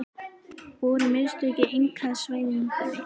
Voru mistök í einkavæðingunni?